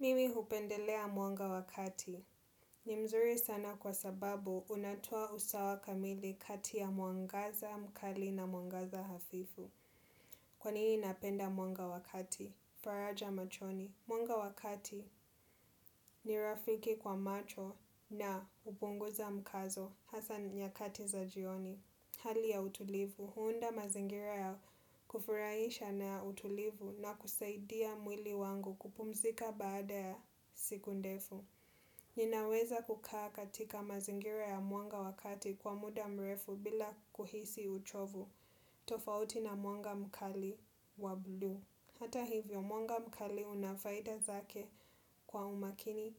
Mimi upendelea mwanga wakati. Ni mzuri sana kwa sababu unatoa usawa kamili kati ya mwangaza, mkali na mwangaza hafifu. Kwanini napenda mwanga wakati. Faraja machoni. Mwanga wakati ni rafiki kwa macho na upunguza mkazo. Hasa nyakati za jioni, hali ya utulivu, huunda mazingira ya kufurahisha na utulivu na kusaidia mwili wangu kupumzika baada ya siku ndefu. Ninaweza kukaa katika mazingira ya muanga wakati kwa muda mrefu bila kuhisi uchovu. Tofauti na muanga mkali wa blu. Hata hivyo, muanga mkali unafaita zake kwa umakini